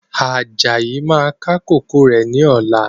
Ajayi máa ká kòkó rẹ̀ ni ọ̀la.